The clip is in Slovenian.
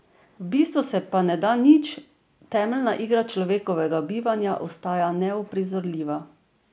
V bistvu se pa ne da nič, temeljna igra človekovega bivanja ostaja neuprizorljiva.